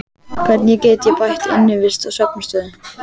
Hvernig get ég bætt innivist og svefnaðstöðu?